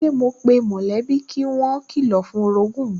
Sẹ́ mo pe mọ̀lẹ́bí pé kí wọ́n kilọ̀ fún orogún mi